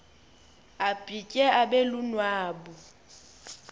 abhitye abe lunwabu